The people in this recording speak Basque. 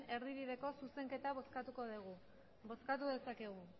erdibideko zuzenketa bozkatuko dugu bozkatu dezakegu